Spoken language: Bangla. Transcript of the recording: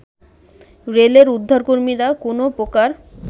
রেলের উদ্ধারকর্মীরা কোনো প্রকার